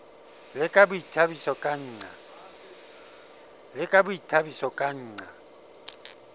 le ka boithabiso ka nqa